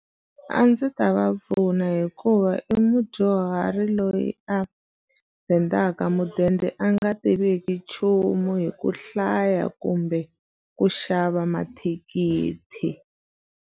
A ndzi ta va pfuna hikuva i mudyuhari loyi a dendaka mudende a nga tiviki nchumu hi ku hlaya kumbe ku xava mathikithi.